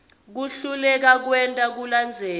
kuhluleka kwenta kulandzela